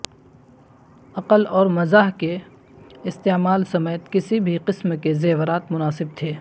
عقل اور مزاح کے استعمال سمیت کسی بھی قسم کے زیورات مناسب تھے